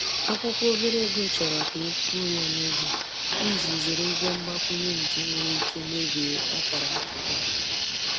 Akwụkwọ obere ego chọrọ ka e kwụọ ya n’oge, iji zere ụgwọ mgbakwunye nke nwere ike mebie akara akụ gị.